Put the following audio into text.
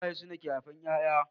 Iyaye sune auke haifar ƴaƴa